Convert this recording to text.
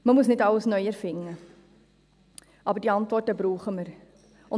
Man muss nicht alles neu erfinden, aber diese Antworten brauchen wir.